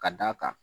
Ka d'a kan